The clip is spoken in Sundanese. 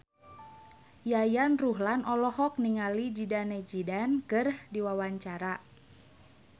Yayan Ruhlan olohok ningali Zidane Zidane keur diwawancara